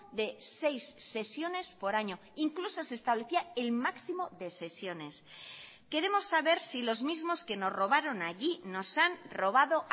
de seis sesiones por año incluso se establecía el máximo de sesiones queremos saber si los mismos que nos robaron allí nos han robado